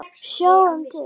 Sjáum til.